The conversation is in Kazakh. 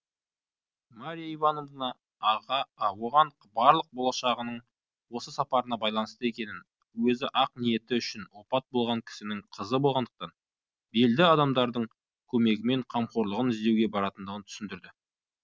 марья ивановна оған барлық болашағының осы сапарына байланысты екенін өзі ақ ниеті үшін опат болған кісінің қызы болғандықтан белді адамдардың көмегімен қамқорлығын іздеуге баратындығын түсіндірді